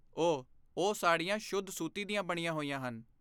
ਓਹ, ਉਹ ਸਾੜੀਆਂ ਸ਼ੁੱਧ ਸੂਤੀ ਦੀਆਂ ਬਣੀਆਂ ਹੋਈਆਂ ਹਨ।